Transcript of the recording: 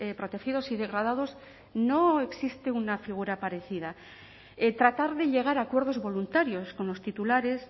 protegidos y degradados no existe una figura parecida tratar de llegar a acuerdos voluntarios con los titulares